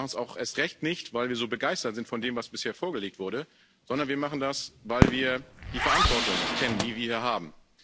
Wir machen es auch erst recht nicht, weil wir so begeistert sind von dem, was bisher vorgelegt wurde, sondern wir machen das, weil wir die Verantwortung kennen, die wir hier haben.